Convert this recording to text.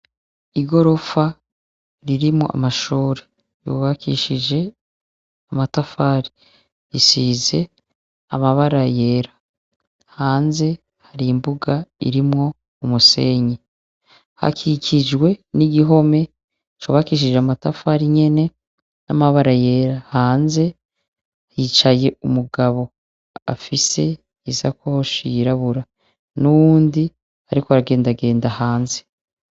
Igorofa ririmwo amashure, yubakishije amatafari ,risize amabara yera, hanze har'imbuga irimwo umusenyi, hakikijwe nigihome cubakishije amatafari nyene y'amabara yera. Hanze hicaye umugabo afise isakoshi yirabura n'uwundi arikw'aragendagenda hanze.